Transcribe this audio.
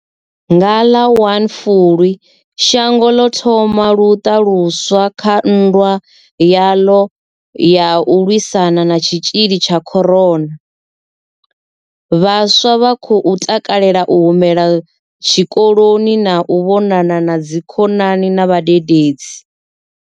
Nga ḽa 01 Fulwi shango ḽo thoma luṱa luswa kha nndwa yaḽo ya u lwisana na tshitzhili tsha corona. Vhaswa vha khou takalela u humela tshikoloni na u vhonana na dzikhonani na vhadededzi.